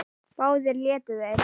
Báðir létu þeir